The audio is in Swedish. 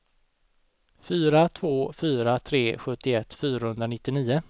fyra två fyra tre sjuttioett fyrahundranittionio